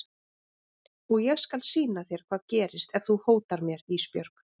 Og ég skal sýna þér hvað gerist ef þú hótar mér Ísbjörg.